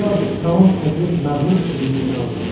Qoca artıq tamam əzilib məğlub edildiyini anladı.